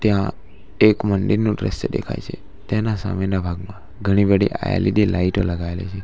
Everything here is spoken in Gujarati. ટ્યાં એક મંડિરનું દ્રશ્ય દેખાય છે ટેના સામેના ભાગમાં ઘણી બઢી એલ_ઇ_ડી લાઇટો લગાવેલી છે.